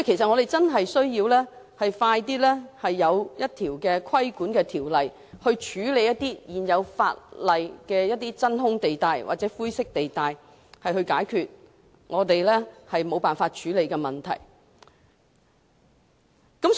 我們確實需要盡快立法規管，從而處理現有法例的真空或灰色地帶，解決我們一直無法處理的問題。